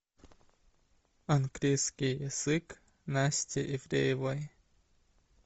английский язык насти ивлеевой